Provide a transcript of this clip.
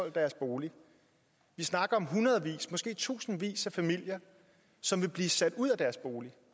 i deres bolig vi snakker om hundredvis måske tusindvis af familier som vil blive sat ud af deres boliger